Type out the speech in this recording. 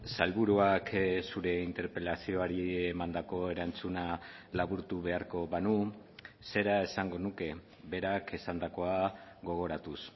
sailburuak zure interpelazioari emandako erantzuna laburtu beharko banu zera esango nuke berak esandakoa gogoratuz